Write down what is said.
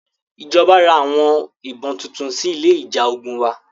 Ìjọba ra àwọn ìbọn tuntun sí ilé ìjà ogun wa.